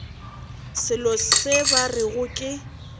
selo se ba rego ke